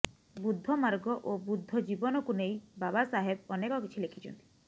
ବୁଦ୍ଧ ମାର୍ଗ ଓ ବୁଦ୍ଧ ଜୀବନକୁ ନେଇ ବାବାସାହେବ ଅନେକ କିଛି ଲେଖିଛନ୍ତି